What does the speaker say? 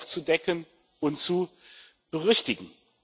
aufzudecken und zu berichtigen.